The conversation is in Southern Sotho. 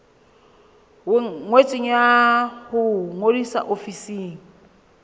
ngotsweng ya ho ngodisa ofising